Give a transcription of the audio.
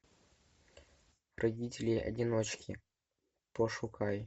родители одиночки пошукай